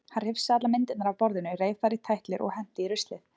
Hann hrifsaði allar myndirnar af borðinu, reif þær í tætlur og henti í ruslið.